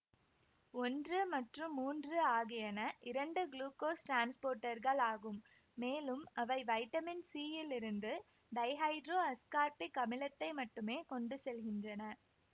ஒன்று மற்றும் மூன்று ஆகியன இரண்டு குளுக்கோஸ் டிரான்ஸ்போர்ட்டர்களாகும் மேலும் அவை வைட்டமின் சியிலிருந்து டைஹைட்ரோஅஸ்கார்பிக் அமிலத்தை மட்டுமே கொண்டு செல்கின்றன